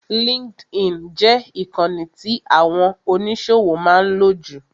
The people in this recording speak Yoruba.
LinkedIn jẹ ìkànì tí àwọn oníṣòwò máa ń lò jù.